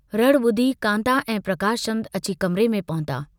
रड़ बुधी कान्ता ऐं प्रकाशचन्द अची कमरे में पहुता।